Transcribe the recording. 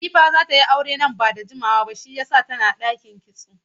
Latifa za ta yi aure nan ba da jimawa ba shiyasa tana ɗakin kitso